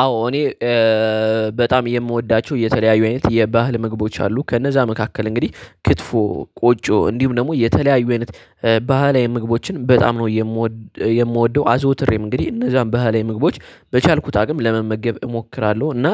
አዎ እኔ በጣም የምወዳቸው የተለያዩ አይነት የባህል ምግቦች አሉ። ከነዛ መካከል እንግዲህ ክት፣ ቆጮ እንዲሁም ደግሞ የተለያዩ አይነት ባህላዊ ምግቦችን በጣም ነው የምወደው። አዘውትሬም እንግዲህ እነዛን ባህላዊ ምግቦች በቻልኩት አቅም ለመመገብ እሞክራለሁ እና